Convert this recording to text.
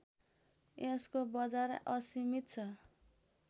यसको बजार असीमित छ